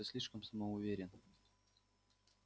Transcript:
ты слишком самоуверен